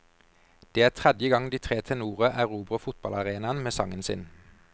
Det er tredje gang de tre tenorer erobrer fotballarenaen med sangen sin.